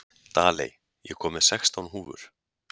Daley, ég kom með sextán húfur!